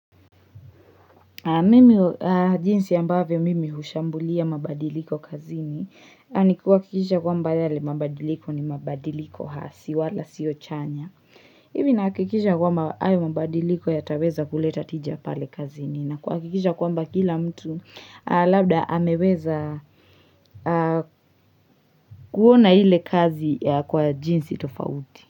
Mimi jinsi ambavyo mimi hushambulia mabadiliko kazini ni kuakikisha kwamba yale mabadiliko ni mabadiliko hasi wala siyo chanya. Ivi naakikisha kwamba ayo mabadiliko yataweza kuleta tija pale kazini na kuakikisha kwamba kila mtu labda ameweza kuona ile kazi kwa jinsi tofauti.